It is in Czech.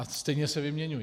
A stejně se vyměňují.